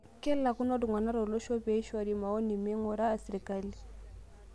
Kelakuno ltung'ana tolosho pee eishoru maoni neing'uraa sirkali